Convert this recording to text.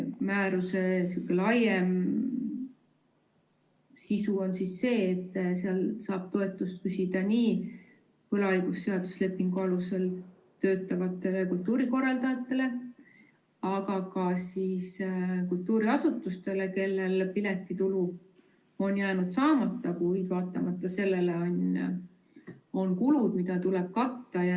Määruse laiem sisu on see, et seal saab toetust küsida nii võlaõiguslepingu alusel töötavatele kultuurikorraldajatele, aga ka kultuuriasutustele, kellel piletitulu on jäänud saamata, kuid vaatamata sellele on kulud, mida tuleb katta.